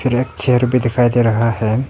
Rack chair की दिखाई दे रहा है।